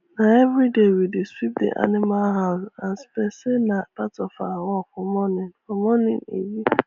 na everyday we dey sweep the animal house as per say na part of our work for morning for morning e be